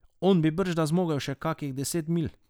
On bi bržda zmogel še kakih deset milj.